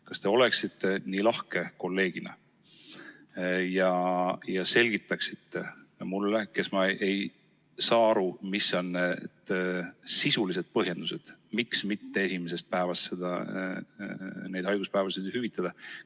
Kas te oleksite kolleegina nii lahke ja selgitaksite mulle, kes ma ei saa aru, mis on sisulised põhjendused, miks esimesest päevast haiguspäevi mitte hüvitada?